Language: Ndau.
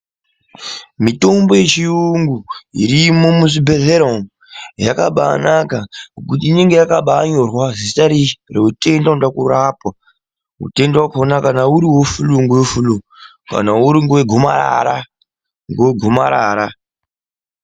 Mitombo yechiyungu irimo mizvibhedhlera umo yakabanaka ngekuti inenge yakabanyorwa zita reutenda unode kurapwa. Utenda vakona kana uri vefuruu ngewe furuu, kana uri wegomarara ngewegomarara.